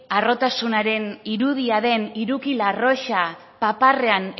harrotasunaren irudia den hiruki arrosa paparrean